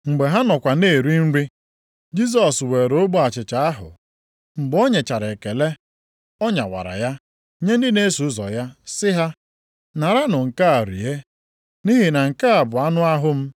Mgbe ha nọkwa na-eri nri, Jisọs were ogbe achịcha ahụ, mgbe o nyechara ekele, ọ nyawara ya nye ndị na-eso ụzọ ya sị ha, “Naranụ nke a rie, nʼihi na nke a bụ anụ ahụ m.”